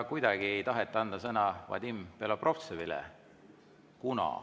Kuidagi ei taheta anda sõna Vadim Belobrovtsevile.